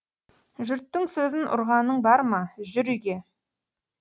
жұрттың сөзін ұрғаның бар ма жүр үйге